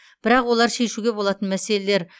бірақ олар шешуге болатын мәселелер